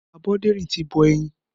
Aboderin ti bọ̀ ẹyin